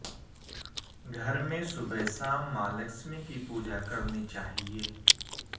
घर में सुबह शाम मां लक्ष्मी की पूजा करनी चाहिए